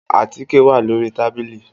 Àtíkè wà lórí tàbìlì.